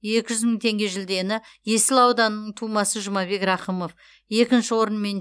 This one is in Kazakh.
екі жүз мың теңге жүлдені есіл ауданының тумасы жұмабек рақымов екінші орын мен